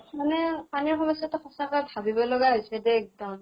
মানে পানীৰ সমস্য়া টো সঁচাকৈ ভাবিব লগা হৈছে দে এক্দম।